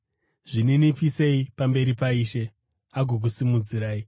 Zvininipisei pamberi paIshe, agokusimudzirai.